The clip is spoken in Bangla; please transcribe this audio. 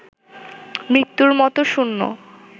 মৃত্যুর মতো শূন্য